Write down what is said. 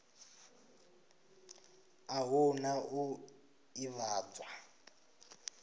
a hu na u ḓivhadzwa